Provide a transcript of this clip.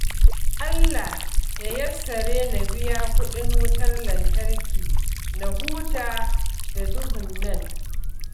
Allah ya yassare na biya kuɗin wutar lantarki na huta da duhun nan